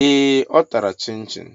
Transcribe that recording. Ee! Ọ tara Chịnchịn.